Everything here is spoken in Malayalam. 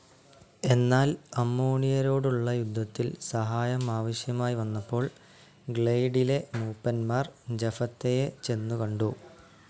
എന്നാൽ അമ്മോണിയരോടുളള യുദ്ധത്തിൽ സഹായം ആവശ്യമായി വന്നപ്പോൾ ഗ്ലൈയഡിലെ മൂപ്പന്മാർ ജഫത്തയെ ചെന്നുകണ്ടു.